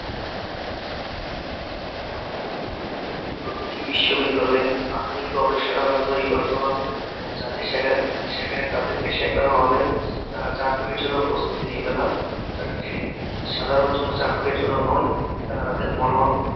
প্রতিটি বিশ্ববিদ্যালয়ে আধুনিক গবেষণাগার তৈরি করতে হবে যাতে সেখানে তাদেরকে শেখানো হবে, তারা চাকুরীর জন্য প্রস্তুতি নিবে না, তারা যে সাধারণ কোনো চাকুরীর জন্য নয় তারা তাদের মনন